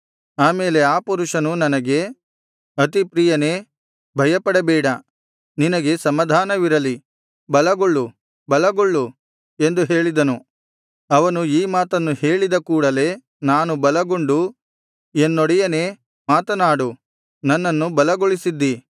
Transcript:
ಆ ಮೇಲೆ ಆ ಪುರುಷನು ನನಗೆ ಅತಿಪ್ರಿಯನೇ ಭಯಪಡಬೇಡ ನಿನಗೆ ಸಮಾಧಾನವಿರಲಿ ಬಲಗೊಳ್ಳು ಬಲಗೊಳ್ಳು ಎಂದು ಹೇಳಿದನು ಅವನು ಈ ಮಾತನ್ನು ಹೇಳಿದ ಕೂಡಲೆ ನಾನು ಬಲಗೊಂಡು ಎನ್ನೊಡೆಯನೇ ಮಾತನಾಡು ನನ್ನನ್ನು ಬಲಗೊಳಿಸಿದ್ದೀ